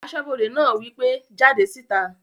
Asọ́bodè náà wí pé "jáde síta!"